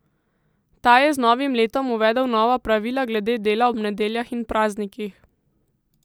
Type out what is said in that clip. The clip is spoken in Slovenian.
Ta je z novim letom uvedel nova pravila glede dela ob nedeljah in praznikih.